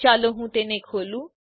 ચાલો હું તે ખોલું